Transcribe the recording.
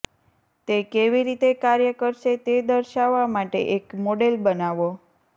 તે કેવી રીતે કાર્ય કરશે તે દર્શાવવા માટે એક મોડેલ બનાવો